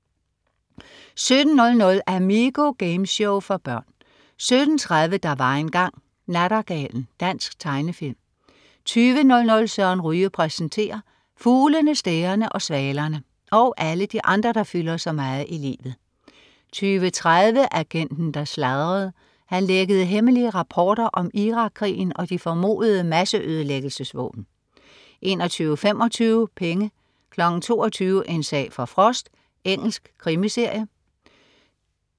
17.00 Amigo. Gameshow for børn 17.30 Der var engang. Nattergalen. Dansk tegnefilm 20.00 Søren Ryge præsenterer. Fuglene, stærene og svalerne og alle de andre, der fylder så meget i livet 20.30 Agenten, der sladrede. Han lækkede hemmelige rapporter om Irak-krigen og de formodede masseødelæggelsesvåben 21.25 Penge 22.00 En sag for Frost. Engelsk krimiserie